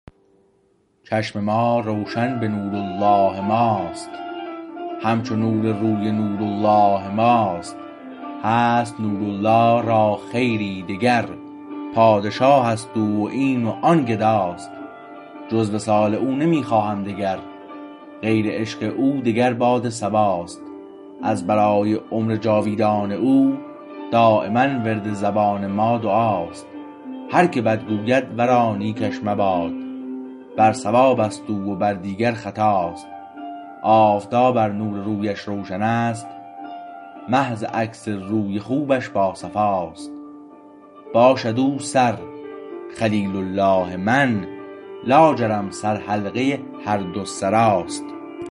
چشم ما روشن به نور الله ماست همچو نور روی نور الله ماست هست نور الله را خیری دگر پادشاهست او و این و آن گداست جز وصال او نمی خواهم دگر غیر عشق او دگر باد صبا است از برای عمر جاویدان او دایما ورد زبان ما دعاست هر که بد گوید ورا نیکش مباد بر صوابست او و بر دیگر خطاست آفتاب ار نور رویش روشنست مه ز عکس روی خوبش با صفاست باشد او سر خلیل الله من لاجرم سر حلقه هر دو سراست